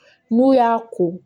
N'u y'a ko